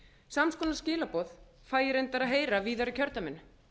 sams konar skilaboð fæ ég reyndar að heyra víðar í kjördæminu